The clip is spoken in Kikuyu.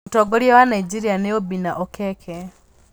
Mũtongoria wa Nigeria nĩ Obinna Okeke.